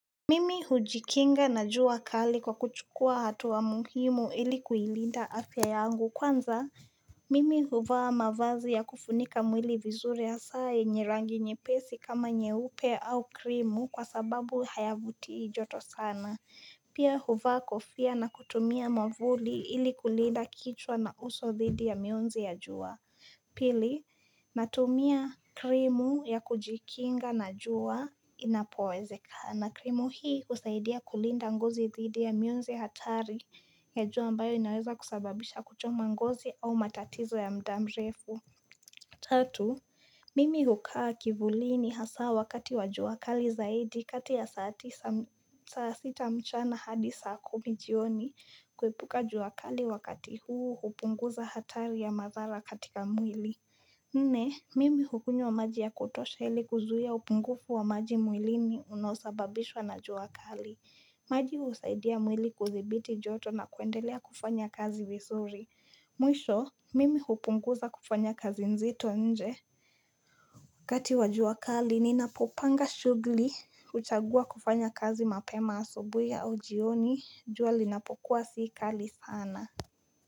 Mimi hujikinga na jua kali kwa kuchukua hatuwa muhimu ili kuilinda afya yangu kwanza mimi huvaa mavazi ya kufunika mwili vizuri hasaa yenye rangi nyepesi kama nyeupe au krimu kwa sababu hayavutii joto sana Pia huva kofia na kutumia mavuli ili kulinda kichwa na uso dhidi ya mionzi ya juwa. Pili, natumia krimu ya kujikinga na juwa inapowezekana. Krimu hii husaidia kulinda ngozi dhidi ya mionzi hatari ya juwa ambayo inaweza kusababisha kuchoma ngozi au matatizo ya mda mrefu. Tatu, mimi hukaa kivulini hasaa wakati wa juwa kali zaidi kati ya saa sita mchana hadi saa kumi jioni kuepuka juwakali wakati huu hupunguza hatari ya mazara katika mwili. Nne, mimi hukunywa maji ya kutosha hili kuzuia upungufu wa maji mwilini unaosababishwa na juwa kali. Maji husaidia mwili kudhibiti joto na kuendelea kufanya kazi visuri. Mwisho mimi hupunguza kufanya kazi nzito nje wakati wa jua kali ninapopanga shugli huchagua kufanya kazi mapema asubuhi au jioni jua linapokuwa sii kali sana.